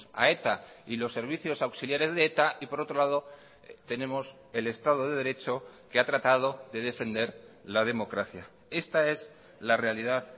a eta y los servicios auxiliares de eta y por otro lado tenemos el estado de derecho que ha tratado de defender la democracia esta es la realidad